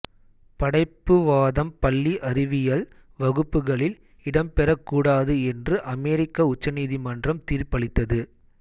படைப்புவாதம் பள்ளி அறிவியல் வகுப்புகளில் இடம்பெறக்கூடாது என்று அமெரிக்க உச்ச நீதிமன்றம் தீர்ப்பளித்தது